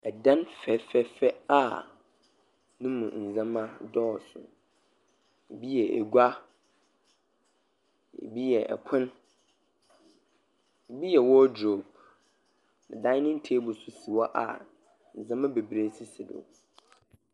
Ɛdan fɛfɛɛfɛ a no mu nneɛma dɔɔso. Ebi yɛ egua, ebi yɛ ɛpono, ebi yɛ wɔldrop, Daenen teebol nso si hɔ a nneɛma bebree sisi do.